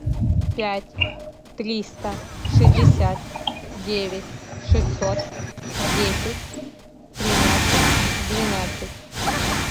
пять триста шестьдесят девять шестьсот десять тринадцать двенадцать